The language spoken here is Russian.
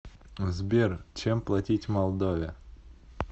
сбер чем платить в молдове